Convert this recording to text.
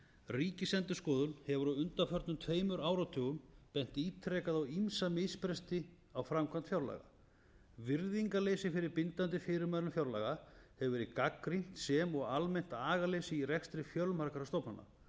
ríkisendurskoðun hefur á undanförnum tveimur áratugum bent ítrekað á ýmsa misbresti á framkvæmd fjárlaga virðingarleysi fyrir bindandi fyrirmælum fjárlaga hefur verið gagnrýnt sem og almennt agaleysi í rekstri fjölmargra stofnana